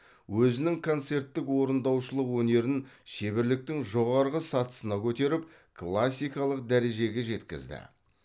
өзінің концерттік орындаушылық өнерін шеберліктің жоғары сатысына көтеріп классикалық дәрежеге жеткізді